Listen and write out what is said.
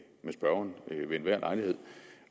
spørgeren ved enhver lejlighed